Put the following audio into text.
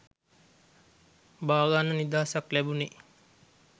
බාගන්න නිදහසක් ලැබුනේ.